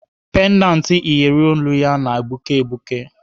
Pendant iyeri olu ya na-egbuke egbuke.